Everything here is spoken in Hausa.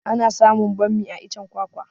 Ana samun bammi a iccen kwakwa